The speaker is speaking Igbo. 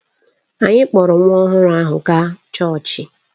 Anyị kpọọrọ nwa ọhụrụ ahụ gaa chọọchị